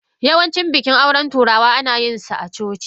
Yawancin bikin auren turawa ana yin su a coci.